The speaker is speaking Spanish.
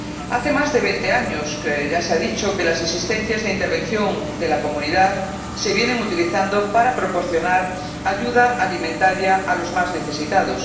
Hace más de 20 años ya se ha dicho que las existencias de intervención de la Comunidad se vienen utilizando para proporcionar ayuda alimentaria a los más necesitados.